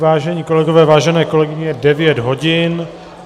Vážení kolegové, vážené kolegové, je devět hodin.